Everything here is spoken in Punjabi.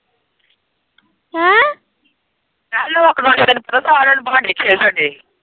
ਮੈਂ ਕਿਹਾ ਲਾੱਕਡਾਊਂਨ ਚ ਤੈਨੂੰ ਪਤਾ ਸਾਰੇ ਜਾਣੇ ਬੰਟੇ ਖੇਲ਼ .